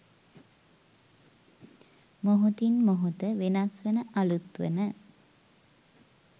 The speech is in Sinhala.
මොහොතින් මොහොත වෙනස් වන අලුත් වන